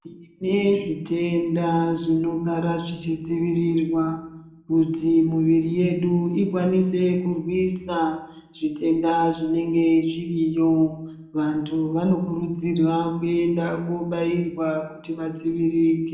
Tine zvitenda zvinogara zvichidzivirirwa ,kuti muviri yedu ikwanise kurwisa zvitenda zvinenge zviriyo ,vantu vanokurudzirwa kuenda kobairwa kuti vadziviririke .